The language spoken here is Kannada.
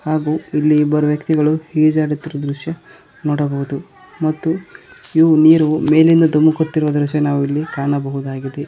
ಹಾಗೂ ಇಲ್ಲಿ ಇಬ್ಬರು ವ್ಯಕ್ತಿಗಳು ಈಜಾಡುತ್ತಿರುವ ದೃಶ್ಯ ನೋಡಬಹುದು ಮತ್ತು ಇವು ನೀರು ಮೇಲಿಂದ ಧುಮುಕುತ್ತಿರುವ ದೃಶ್ಯ ನಾವು ಇಲ್ಲಿ ಕಾಣಬಹುದಾಗಿದೆ.